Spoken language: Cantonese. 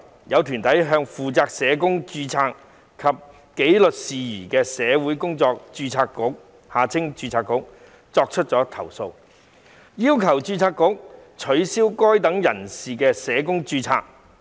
有團體向負責社工註冊及紀律事宜的社會工作者註冊局作出投訴，要求註冊局取消該等人士的社工註冊。